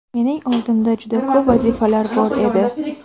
Mening oldimda juda ko‘p vazifalar bor edi.